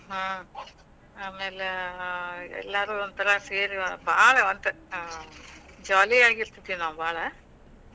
ಹ್ಮ್, ಆಮ್ಯಾಲ ಎಲ್ಲಾರೂ ಒಂಥರಾ ಸೇರೆ, ಬಾಳ ಅ ಒಟ್ jolly ಆಗಿರ್ತಿದ್ವಿ ನಾವ ಭಾಳ.